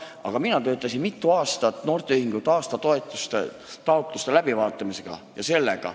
Aga mina tegelesin mitu aastat noorteühenduste aastatoetuste taotluste läbivaatamisega.